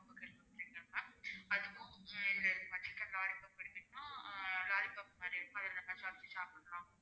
அதுவும் உம் chicken lollipop எடுத்தீங்கன்னா lollipop மாதிரி என்னென்னா சப்பி சாப்பிடலாம்